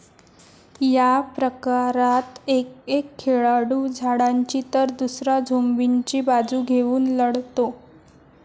या प्रकारात एक एक खेळाडू झाडांची तर दुसरा झोंबींची बाजू घेऊन लढतो.